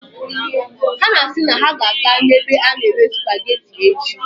Ha si na ha ga-aga ebe a na-ere supageti echi.